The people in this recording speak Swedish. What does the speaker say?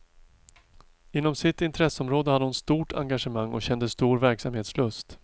Inom sitt intresseområde hade hon stort engagemang och kände stor verksamhetslust.